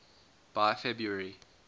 by february